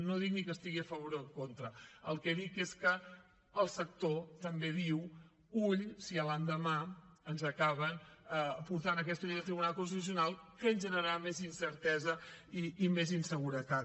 no dic ni que hi estigui a favor o en contra el que dic és que el sector també diu ull si a l’endemà ens acaben portant aquesta llei al tribunal constitucional que ens generarà més incertesa i més inseguretat